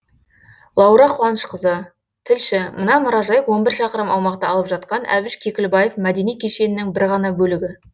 лаура қуанышқызы тілші мына мұражай он бір шақырым аумақты алып жатқан әбіш кекілбаев мәдени кешенінің бір ғана бөлігі